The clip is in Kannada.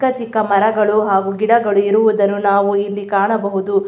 ಚಿಕ್ಕ ಚಿಕ್ಕ ಮರಗಳು ಹಾಗು ಗಿಡಗಳು ಇರುವುದನ್ನು ನಾವು ಇಲ್ಲಿ ಕಾಣಬಹುದು.